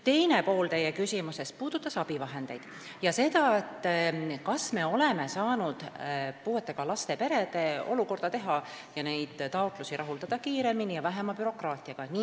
Teine pool teie küsimusest puudutas abivahendeid ja seda, kas me oleme saanud puuetega laste perede olukorda arvestades rahuldada nende taotlusi kiiremini ja vähema bürokraatiaga.